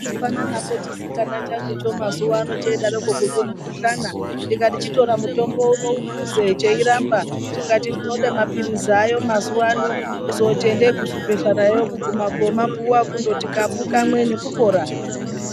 Kuhlupana napo chisikana changucho mazuwa ano cheidaroko kuzwe mukhuhlana, ndikati chitora mutombo uwo uphuze cheiramba, chikati ndinode mapirizi aayo mazuwa ano. Kuzooti endei kuzvibhedhlerayo kuguma koomapuwa kundoti kapu kamwe nekupora.